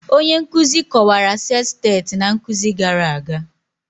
Onye nkuzi kọwara sestet na nkuzi gara aga